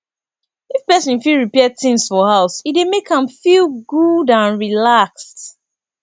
if person fit repair things for house e dey make am feel good and relaxed